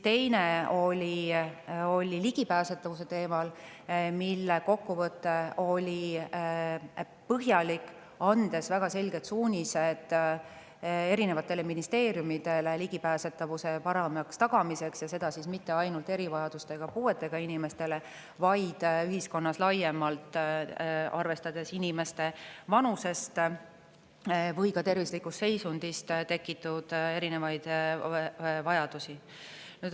Teine oli ligipääsetavuse teemal: selle kokkuvõte oli põhjalik, andis väga selged suunised ministeeriumidele ligipääsetavuse paremaks tagamiseks, ja seda mitte ainult erivajadustega, puuetega inimestele, vaid ühiskonnale laiemalt, arvestades inimeste vanusest või tervislikust seisundist tulenevaid vajadusi.